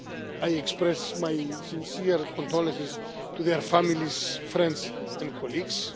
I express my sincere condolences to their families, friends and colleagues.